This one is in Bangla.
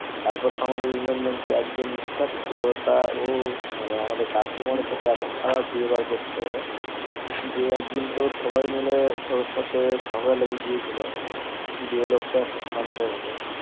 তারপর তো আমাদের ইউনিয়ন bank এর একজন staff ছিল টা ওমানে আমাদের customer এর সাথে এত খারাপ ব্যবহার করতো যে একদিন তো সবাই মিলে ওর সাথে ঝগড়া লেগে গিয়েছিলো দিয়ে লোকটা একটু শান্ত হলো